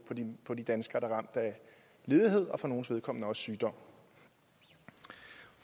på de danskere der er ramt af ledighed og for nogles vedkommende også sygdom